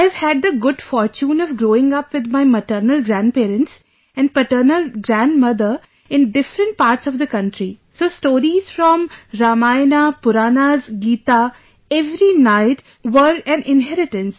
I have had the good fortune of growing up with my maternal grandparents and paternal grandmother in different parts of the country, so stories from Ramayana, Puranas, Geeta every night, were an inheritance